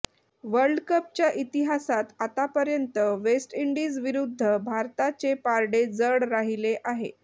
वर्ल्डकपच्या इतिहासात आतापर्यंत वेस्ट इंडिजविरुद्ध भारताचे पारडे जड राहिले आहे